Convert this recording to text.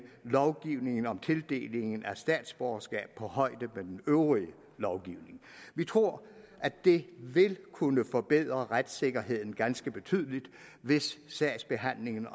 lovgivningen om tildeling af statsborgerskab på højde med den øvrige lovgivning vi tror at det vil kunne forbedre retssikkerheden ganske betydeligt hvis sagsbehandlingen